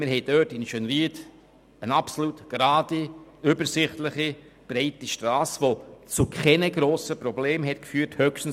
Wir haben in Schönried eine absolut gerade, übersichtliche und breite Strasse, die zu keinen grossen Problemen geführt hatte.